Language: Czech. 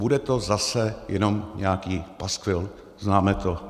Bude to zase jenom nějaký paskvil, známe to.